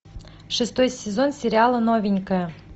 шестой сезон сериала новенькая